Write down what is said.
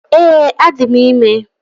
Ee, adị m ime